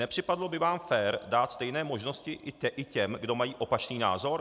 Nepřipadlo by vám fér dát stejné možnosti i těm, kdo mají opačný názor?